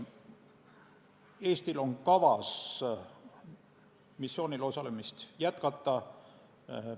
Eestil on kavas missioonil osalemist jätkata.